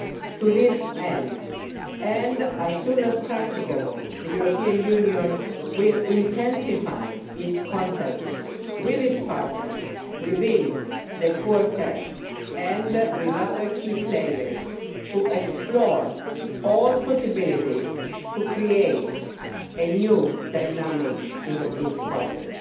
To that end, and as soon as is practicable, the EU will intensify its contacts with its partners within the Quartet, and with other key players, to explore all possibilities for creating a new dynamic in the peace process.